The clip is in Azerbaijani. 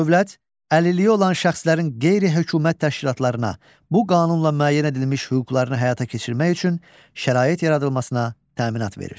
Dövlət əlilliyi olan şəxslərin qeyri-hökumət təşkilatlarına bu qanunla müəyyən edilmiş hüquqlarını həyata keçirmək üçün şərait yaradılmasına təminat verir.